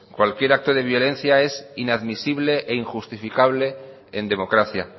cualquier acto de violencia es inadmisible e injustificable en democracia